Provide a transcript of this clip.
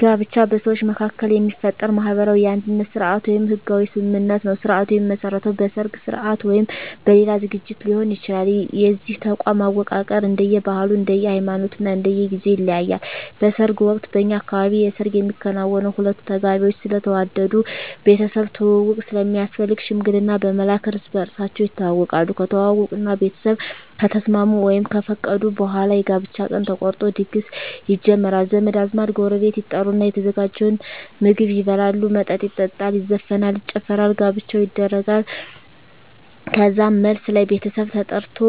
ጋብቻ በሰዎች መካከል የሚፈጠር ማህበራዊ የአንድነት ስርአት ወይም ህጋዊ ስምምነት ነዉ ስርአቱ የሚመሰረተዉ በሰርግ ስርአት ወይም በሌላ ዝግጅት ሊሆን ይችላል የዚህ ተቋም አወቃቀር እንደየ ባህሉ እንደየ ሃይማኖቱ እና እንደየ ጊዜዉ ይለያያል በሰርግ ወቅት በእኛ አካባቢ የሰርግ የሚከናወነዉ ሁለቱ ተጋቢዎች ስለተዋደዱ ቤተሰብ ትዉዉቅ ስለሚያስፈልግ ሽምግልና በመላክ እርስ በርሳቸዉ ይተዋወቃሉ ከተዋወቁእና ቤተሰብ ከተስማሙ ወይም ከፈቀዱ በኋላ የጋብቻ ቀን ተቆርጦ ድግስ ይጀመራል ዘመድ አዝማድ ጎረቤት ይጠሩና የተዘጋጀዉን ምግብ ይበላሉ መጠጥ ይጠጣሉ ይዘፈናል ይጨፈራል ጋብቻዉ ይደረጋል ከዛም መልስ ላይ ቤተሰብ ተጠርቆ